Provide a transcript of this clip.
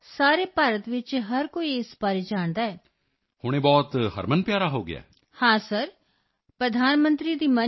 ਹਾਂ ਸਰ ਪ੍ਰਧਾਨ ਮੰਤਰੀ ਦੀ ਮਨ ਕੀ ਬਾਤ ਪ੍ਰੋਗਰਾਮ ਕਰਕੇ ਹਰ ਕੋਈ ਕਮਲ ਦੇ ਰੇਸ਼ਿਆਂ ਬਾਰੇ ਜਾਣਦਾ ਹੈ yes sir from prime minister Mann Ki Baat program everyone knows about lotus fibre